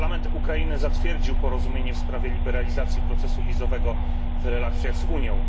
Parlament Ukrainy zatwierdził porozumienie w sprawie liberalizacji procesu wizowego w relacjach z Unią.